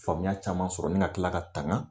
Faamuya caman sɔrɔ ni ka tila ka tanga